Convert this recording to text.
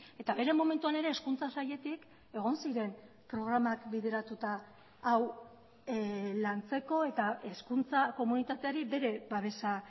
eta bere momentuan ere hezkuntza sailetik egon ziren programak bideratuta hau lantzeko eta hezkuntza komunitateari bere babesa